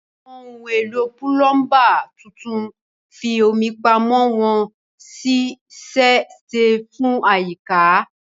Àwọn ohun èlò púlọ́ńbà tuntun ń fi omi pamọ́ wọ́n sì ṣe é ṣe fún àyíká.